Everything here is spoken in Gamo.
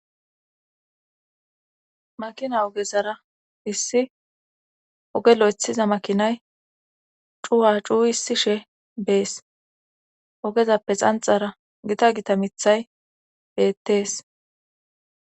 makina ogezara issi ogelo ethiza makinay cuwa cuu hissi she bees ogezappe xanxara gita gita mithay beettees